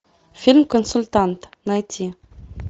фильм консультант найти